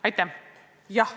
Aitäh!